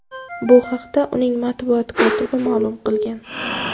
Bu haqda uning matbuot kotibi ma’lum qilgan.